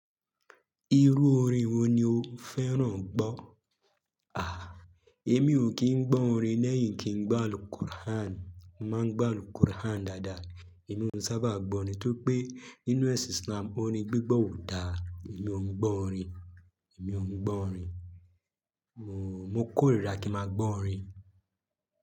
Irú orin wo ni o fẹ́ràn gbọ́? Àh, èmi ò kí ń gbọ́ orin lẹ́yìn kí ń gbá Al-Qur'an. Mo máa ń gbá Al-Qur'an dáadáa, èmí o n sábà gbọ́ orin. Tóri pé nínú ẹ̀sìn Islam orin gbígbọ́ ò dáa, èmi ò ń gbọ́ orin, èmi ò ń gbọ́ orin. Mò kórira kí màá gbọ́ orin.